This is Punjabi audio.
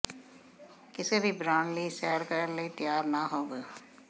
ਕਿਸੇ ਵੀ ਬਰਾਂਡ ਲਈ ਸੈਰ ਕਰਨ ਲਈ ਤਿਆਰ ਨਾ ਹੋਵੋ